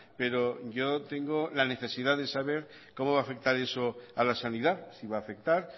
pero yo tengo la necesidad de saber cómo va a afectar eso a la sanidad si va a afectar